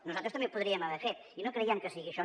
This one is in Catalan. nosaltres també ho podríem haver fet i no creiem que sigui això